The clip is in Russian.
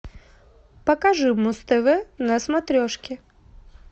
покажи муз тв на смотрешке